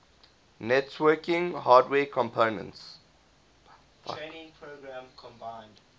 networking hardware companies